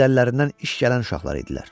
Həm də əllərindən iş gələn uşaqlar idilər.